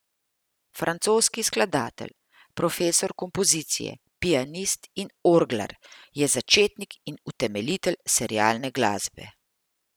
Francoski skladatelj, profesor kompozicije, pianist in orglar je začetnik in utemeljitelj serialne glasbe.